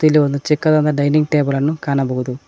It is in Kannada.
ಇಲ್ಲಿ ಒಂದು ಚಿಕ್ಕದಾದ ಡೈನಿಂಗ್ ಟೇಬಲ್ ಅನ್ನು ಕಾಣಬಹುದು.